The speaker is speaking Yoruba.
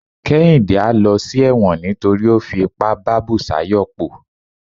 kehinde a ló sí ẹwọ́n nítorí o fí ipá bá busayo po